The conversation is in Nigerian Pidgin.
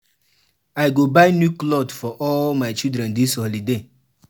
I go buy new clot for all my children dis holiday.